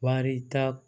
Wari ta